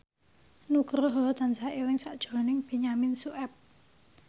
Nugroho tansah eling sakjroning Benyamin Sueb